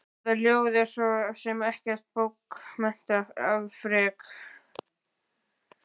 Þetta ljóð er svo sem ekkert bókmenntaafrek.